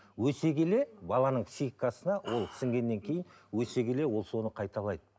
өсе келе баланың психикасына ол сіңгеннен кейін өсе келе ол соны қайталайды